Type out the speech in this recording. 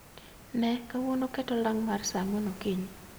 Ne, kawuono ket olang mar sa ang'wen okinyi